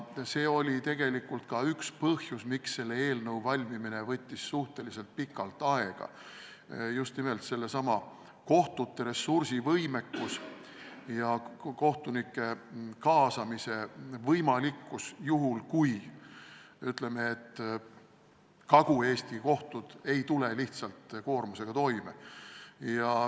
See oli tegelikult ka üks põhjus, miks eelnõu valmimine võttis suhteliselt pikalt aega, sest küsimärgi all oli just nimelt kohtute ressursivõimekus, kohtunike kaasamise võimalikkus, kui Kagu-Eesti kohtud ei tule lihtsalt koormusega toime.